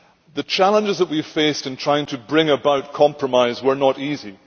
The challenges that we faced in trying to bring about compromise were not easy.